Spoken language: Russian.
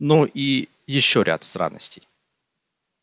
ну и ещё ряд странностей